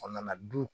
A nana du